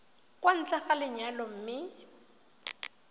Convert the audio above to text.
kwa ntle ga lenyalo mme